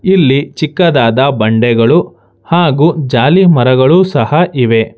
ಇಲ್ಲಿ ಚಿಕ್ಕದಾದ ಬಂಡೆಗಳು ಹಾಗು ಜಾಲಿ ಮರಗಳು ಸಹ ಇವೆ.